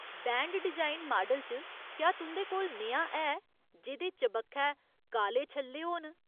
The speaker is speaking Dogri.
बैंड डिजाइन माडल च, क्या तुं'दे कोल नेहा है जेह्दे चबक्खै काले छल्ले होन ?